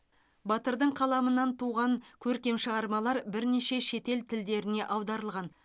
батырдың қаламынан туған көркем шығармалар бірнеше шетел тілдеріне аударылған